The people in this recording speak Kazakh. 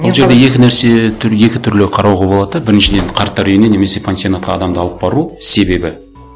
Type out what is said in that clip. ол жерде екі нәрсе екі түрлі қарауға болады да біріншіден қарттар үйіне немесе пансионатқа адамды алып бару себебі